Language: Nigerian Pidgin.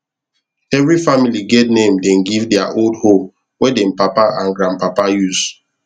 every family get name dem give their old hoe wey dem papa and grand papa use